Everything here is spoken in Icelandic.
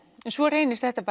svo reynist þetta